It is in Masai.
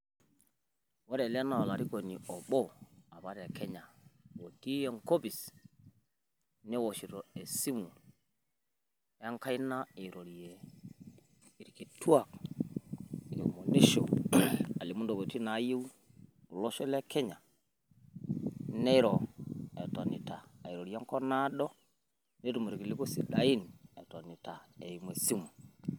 Ore ele naa olarikoni obo apa te Kenya otii enkopis newoshito esimu enkaina irorie irkituak eomonisho, alimu intokitin naayeu olosho le Kenya neiro etonita airorie enkop naado, netum irkiliku sidain etonita eimu esimu.